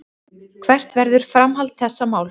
Hvert verður framhald þessa máls.